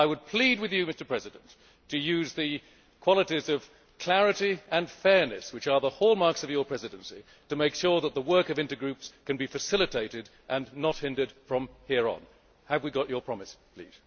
I would plead with you, Mr President, to use the qualities of clarity and fairness which are the hallmarks of your presidency to make sure that the work of intergroups can be facilitated and not hindered from here on. Have we got your promise, please?